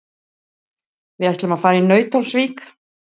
Við ætlum að fara í Nauthólsvík.